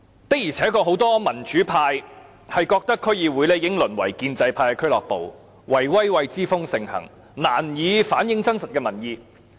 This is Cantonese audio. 的而且確，很多民主派均認為區議會已淪為建制派的俱樂部，"圍威喂"之風盛行，難以反映真實的民意。